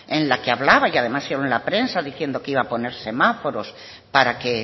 en la que hablaba y además salió en la prensa diciendo que iba a poner semáforos para que